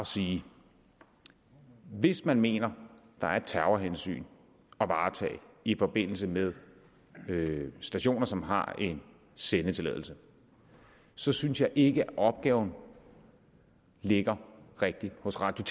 at sige hvis man mener der er et terrorhensyn at varetage i forbindelse med stationer som har en sendetilladelse så synes jeg ikke at opgaven ligger rigtigt hos radio